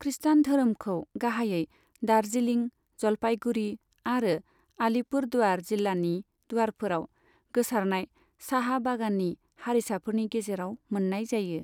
खृस्टान धोरोमखौ गाहायै दार्जिलिं, जलपाईगुड़ी आरो आलीपुरद्वार जिल्लानि दुआरफोराव गोसारनाय चाहा बागाननि हारिसाफोरनि गेजेराव मोन्नाय जायो।